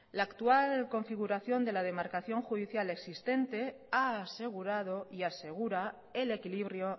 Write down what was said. la actual configuración de la demarcación judicial existente ha asegurado y asegura el equilibrio